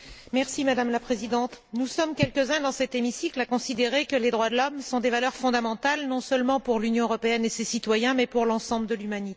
Madame la Présidente, nous sommes quelques uns dans cet hémicycle à considérer que les droits de l'homme sont des valeurs fondamentales non seulement pour l'Union européenne et ses citoyens mais pour l'ensemble de l'humanité.